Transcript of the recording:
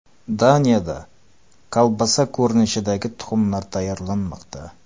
Daniyada kolbasa ko‘rinishidagi tuxumlar tayyorlanmoqda.